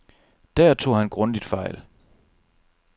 Der tog han grundigt fejl.